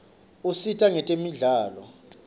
usita kwetemidlalo